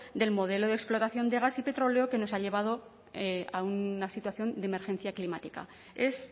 del modelo de explotación de gas y petróleo que nos ha llevado a una situación de emergencia climática es